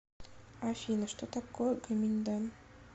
афина что такое гоминьдан